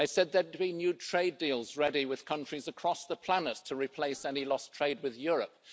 They said there would be new trade deals ready with countries across the planet to replace any lost trade with Europe